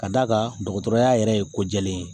Ka d'a kan dɔgɔtɔrɔya yɛrɛ ye ko jɛlen ye